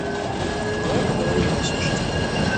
давай поговорим о насущном